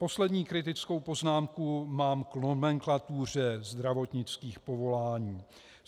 Poslední kritickou poznámku mám k nomenklatuře zdravotnických povolání.